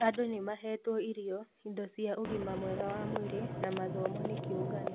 Andũ nĩ mahetwo irio, indo cīa ũgima mwega wa mwĩrĩ na mathomo nĩ kĩũngano